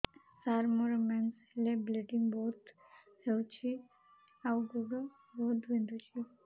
ସାର ମୋର ମେନ୍ସେସ ହେଲେ ବ୍ଲିଡ଼ିଙ୍ଗ ବହୁତ ହଉଚି ଆଉ ଗୋଡ ବହୁତ ବିନ୍ଧୁଚି